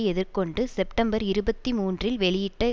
எதிர்கொண்டு செப்டம்பர் இருபத்தி மூன்றில் வெளியிட்ட